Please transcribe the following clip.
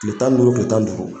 Tile tan ni duuru tile tan ni duuru